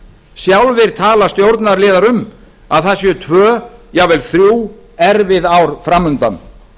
sjálfir tala stjórnarliðar um að það séu tvö jafnvel þrjú erfið ár fram undan